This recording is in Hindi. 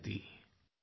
phone call 3